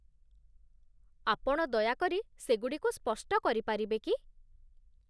ଆପଣ ଦୟାକରି ସେଗୁଡ଼ିକୁ ସ୍ପଷ୍ଟ କରିପାରିବେ କି?